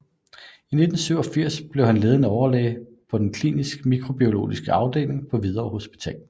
I 1987 blev han ledende overlæge på den klinisk mikrobiologiske afdeling på Hvidovre Hospital